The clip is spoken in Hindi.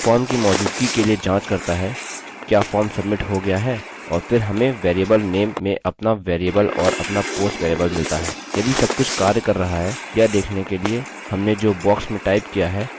यह फॉर्म की मौजूदगी के लिए जाँच करता है क्या फॉर्म सब्मिट हो गया है और फिर हमें वेरिएबल नेम में अपना वेरिएबल और अपना पोस्ट वेरिएबल मिलता है